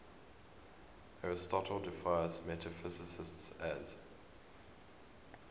aristotle defines metaphysics as